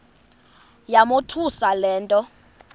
yamothusa le nto